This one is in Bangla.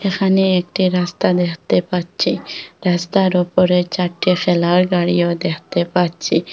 এখানে একটি রাস্তা দেখতে পাচ্ছি রাস্তার ওপরে চারটে ফেলার গাড়িও দেখতে পাচ্ছি।